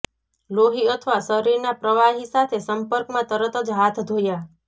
લોહી અથવા શરીરના પ્રવાહી સાથે સંપર્કમાં તરત જ હાથ ધોયા